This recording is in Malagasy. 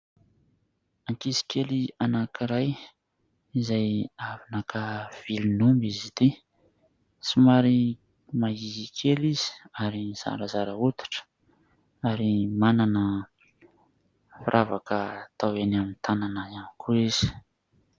Ankizy kely anankiray izay avy naka vilon'omby izy ity. Somary mahiahia kely izy ary zarazara hoditra ary manana firavaka atao eny amin'ny tanana ihany koa izy.